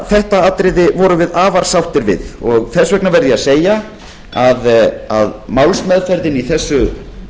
þetta atriði vorum við afar sáttir við og þess vegna verð ég að segja að málsmeðferðin í þessu